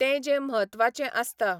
ते जें म्हत्वाचे आसता.